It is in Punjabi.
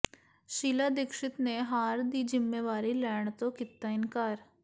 ਸ਼ੀਲਾ ਦੀਕਸ਼ਤ ਨੇ ਹਾਰ ਦੀ ਜਿੰਮੇਵਾਰੀ ਲੈਣ ਤੋਂ ਕੀਤਾ ਇਨਕਾਰ